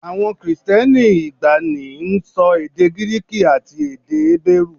Àwọn Kristẹni ìgbàanì ń sọ èdè Gíríìkì àti èdè Hébérù